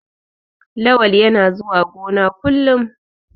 Lawal yana zuwa gona kullum.